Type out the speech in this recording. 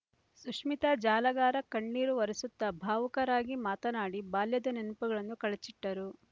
ಸುಶ್ಮೀತಾ ಜಾಲಗಾರ ಕಣ್ಣೀರು ಒರೆಸುತ್ತಾ ಭಾವುಕರಾಗಿ ಮಾತನಾಡಿ ಬಾಲ್ಯದ ನೆನಪುಗಳನ್ನು ಕಳಚಿಟ್ಟರು